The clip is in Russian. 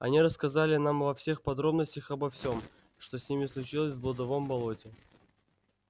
они рассказали нам во всех подробностях обо всем что с ними случилось в блудовом болоте